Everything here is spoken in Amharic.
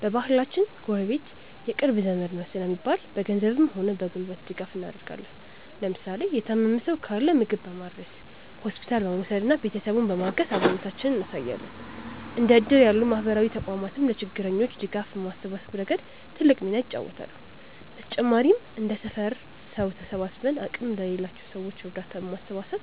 በባህላችን "ጎረቤት የቅርብ ዘመድ ነው" ስለሚባል፣ በገንዘብም ሆነ በጉልበት ድጋፍ እናደርጋለን። ለምሳሌ የታመመ ሰው ካለ ምግብ በማድረስ፣ ሆስፒታል በመውሰድና ቤተሰቡን በማገዝ አብሮነታችንን እናሳያለን። እንደ እድር ያሉ ማህበራዊ ተቋማትም ለችግረኞች ድጋፍ በማሰባሰብ ረገድ ትልቅ ሚና ይጫወታሉ። በተጨማሪም እንደ ሰፈር ሰው ተሰባስበን አቅም ለሌላቸው ሰዎች እርዳታ በማሰባሰብ